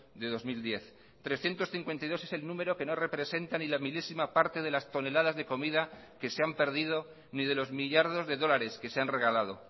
de dos mil diez trescientos cincuenta y dos es el número que no representa ni la milésima parte de las toneladas de comida que se han perdido ni de los millardos de dólares que se han regalado